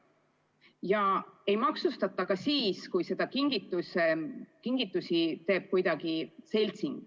Ja ei maksustata ka siis, kui kingituse teeb kuidagi seltsing.